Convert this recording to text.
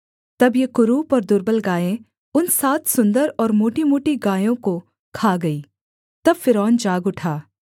तब ये कुरूप और दुर्बल गायें उन सात सुन्दर और मोटीमोटी गायों को खा गईं तब फ़िरौन जाग उठा